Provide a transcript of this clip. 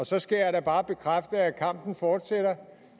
så skal jeg da bare bekræfte at kampen fortsætter